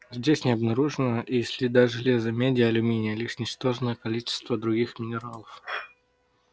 здесь не обнаружено и следа железа меди алюминия лишь ничтожное количество других минералов